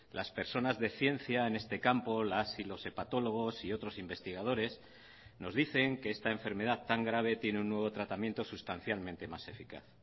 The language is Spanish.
las personas de ciencia en este campo las y los hepatólogos y otros investigadores nos dicen que esta enfermedad tan grave tiene un nuevo tratamiento sustancialmente más eficaz